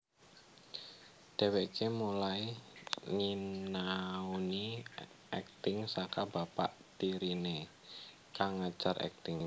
Dheweké mulai nyinauni akting saka bapak tiriné kang ngajar akting